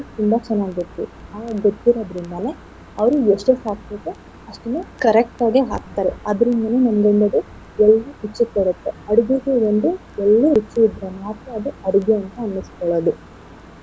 ತುಂಬಾ ಚೆನ್ನಾಗ್ ಗೊತ್ತು ಅವ್ರಿಗ್ ಗೊತ್ತಿರೋದ್ರಿಂದಾನೆ ಅವ್ರು ಎಷ್ಟನ್ ಹಾಕ್ಬೇಕೋ ಅಷ್ಟನ್ನ correct ಆಗೇ ಹಾಕ್ತಾರೆ ಅದ್ರ ಒಳ್ಳೆ ರುಚಿ ಬರುತ್ತೆ ಅಡ್ಗೆಗೆ ಒಂದು ಒಳ್ಳೆ ರುಚಿ ಇದ್ರೆ ಮಾತ್ರ ಅದು ಅಡ್ಗೆ ಅಂತ ಅನ್ನಿಸ್ಕೊಳ್ಳೋದು.